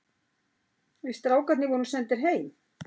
Við strákarnir vorum sendir heim.